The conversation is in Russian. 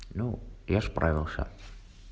ну я справился